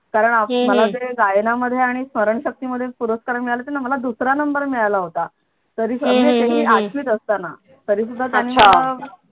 कारण मला ते गायनामध्ये आणि स्मरणशक्ती मध्ये मला पुरस्कार मिळाले होते न मला दुसरा नंबर मिळाला होता तरी आठवीत असताना तरी सुद्धा त्यानी मला